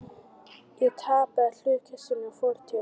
Ég tapaði hlutkestinu og fór til